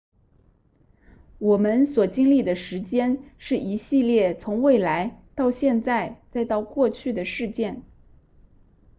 我们所经历的时间是一系列从未来到现在再到过去的事件